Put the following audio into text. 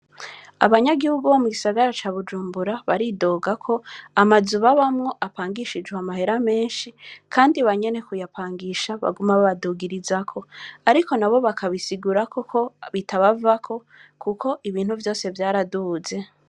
Abanyagihu bo mugisagara ca Bujumbura, Baridoga ko amazu babamwo apangishijwe amahera meshi, Kandi banyene kuyapangisha baguma babadugirizako, ariko nabo bakabisigura ko bitabavako ibintu vyose vyaraduze.